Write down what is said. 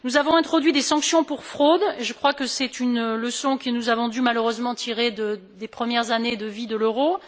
Nous avons introduit des sanctions pour fraude je crois que c'est une leçon que nous avons dû malheureusement tirer des premières années de vie de l'euro.